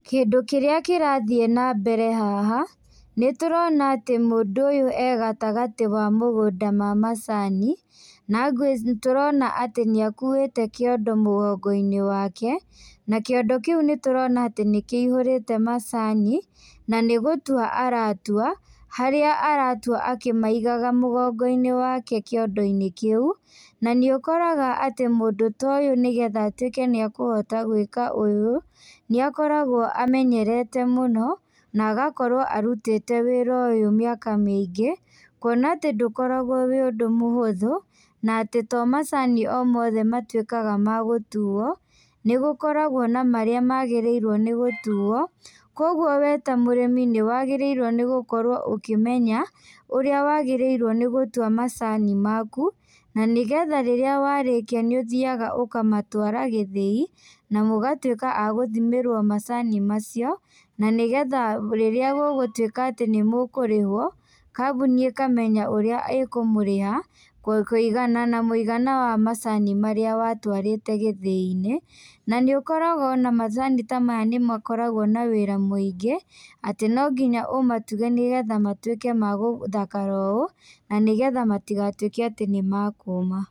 Kĩndũ kĩrĩa kĩrathiĩ na mbere haha, nĩtũrona atĩ mũndũ ũyũ egatagatĩ wa mũgũnda ma macani nagwĩci nĩtũrona nĩakũĩte kĩondo mũgongo-inĩ wake, na kĩondo kĩũ nĩtũrona nĩkĩihũrĩte macani, na nĩgũtũa aratũa harĩa aratũa akĩmaigaga mũgongo-inĩ wake kĩondo-inĩ kĩu. Na nĩũkoraga atĩ mũndũ ta ũyũ nĩgetha atwĩke nĩekũhota gwĩka ũyũ nĩakoragwo amenyerete mũno na agakorwo arũtĩte wĩra ũyũ mĩaka mĩingĩ kuona atĩ ndũkoragwo wĩ ũndũ mũhũthu na atĩ to macani o mothe matwĩkaga magũtũo nĩgũkoragwo na marĩa magĩrĩrwo nĩgũtũo kogũo wee ta mũrĩmi nĩwagĩrĩirwo nĩgũkorwo ũkĩmenya ũrĩa wagĩrĩirwo nĩgũtũa macani maku na nĩgetha rĩrĩa warĩkia nĩ ũthiaga ũkamatwara gĩthĩi na mugatwĩka agũthimĩrwo macani macio na nĩgetha rĩrĩa gũgũtwĩka atĩ nĩ mũkũrĩhwo kambuni ĩkamenya ũrĩa ĩkũmũrĩha kũigana na mũigana wa macani marĩa watwarĩte gĩthĩi-inĩ. Na nĩũkoraga macani ta maya nĩmo makoragwo na wĩra mũingĩ atĩ nonginya ũmatige nĩgetha matwĩke ma gũthakara ũũ na nĩgetha matigatwĩke atĩ nĩmakũũma.